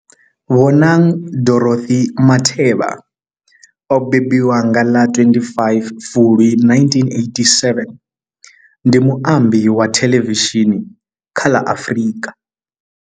Bonang Dorothy Matheba o mbembiwa nga ḽa 25 Fulwi 1987, ndi muambi wa thelevishini kha ḽa Afrika.